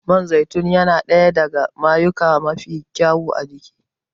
Man zaitun yana ɗaya daga mayuyuka mafi kyau a jiki